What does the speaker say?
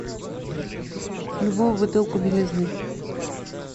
любую бутылку белизны